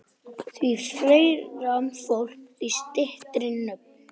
Því fleira fólk, því styttri nöfn.